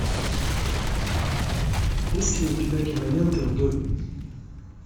есть ли у тебя кинолента в доме